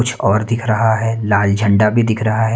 कुछ और दिख रहा हे लाल झंडा भी दिख रहा हैं।